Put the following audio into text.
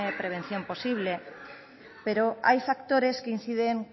prevención posible pero hay factores que inciden